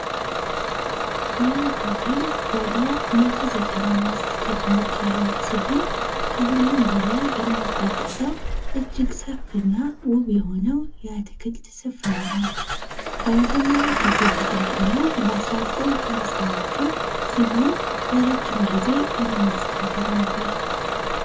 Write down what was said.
Hotel ወደ 195 ክፍሎች ያሉት ሲሆን ከሁሉም በላይ የሚጠቀሰው እጅግ ሰፊና ውብ የሆነው የአትክልት ስፍራ ነው ለመጀመሪያ ጊዜ ተቋቋመ በ1950ዎቹ ሲሆን ለረጅም ጊዜ የመንግስት ሆቴል ነበር